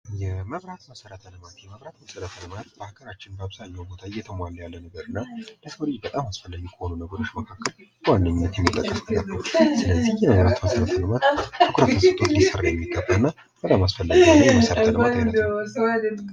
የመብራት መሰረተ ልማት:- የመብራት መሰረተ ልማት በአገራችን በአብዛኛዉ ቦታ እየተሟላ ያለ እና ለሰዉ ልጅ በጣም አሰሰፈላጊ ከሆኑት መካከል በዋነኛነት ይጠቀሳል። ይህ የመብራት መሰረተ ልማት ትኩረት ተሰጦት ሊሰራ የሚገባ እና በጣም አስፈላጊ የመሰረተ ልማት አይነት ነዉ።